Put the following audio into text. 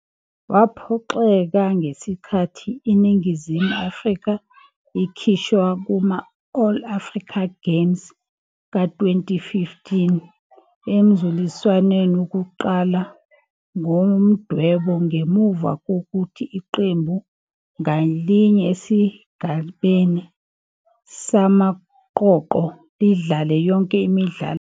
Waphoxeka ngesikhathi iNingizimu Afrika ikhishwa kuma- All Africa Games ka-2015 emzuliswaneni wokuqala ngomdwebo ngemuva kokuthi iqembu ngalinye esigabeni samaqoqo lidlale yonke imidlalo yalo.